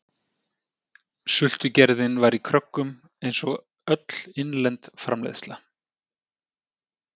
Sultugerðin var í kröggum einsog öll innlend framleiðsla.